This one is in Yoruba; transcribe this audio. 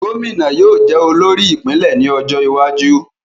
Gómìnà yóò jẹ olórí ìpínlè ní ọjó iwájú